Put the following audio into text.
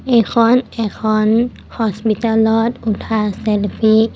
এইখন এখন হস্পিতালত উঠা চেলফি ।